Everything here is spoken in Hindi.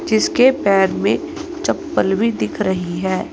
जिसके पैर में चप्पल भी दिख रही है।